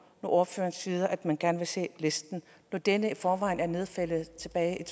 ordføreren siger at man gerne vil se listen når denne i forvejen er nedfældet tilbage